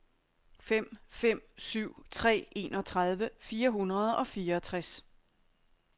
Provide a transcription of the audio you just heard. fem fem syv tre enogtredive fire hundrede og fireogtres